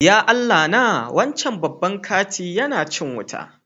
Ya Allah na! Wancan babban kanti yana cin wuta.